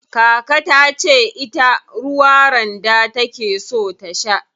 Kaka tace ita ruwa randa take so ta sha.